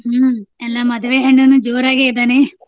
ಹ್ಮ್ ಎಲ್ಲಾ ಮದ್ವೆ ಹೆಣ್ಣನು ಜೋರಾಗೆ ಇದಾನೆ.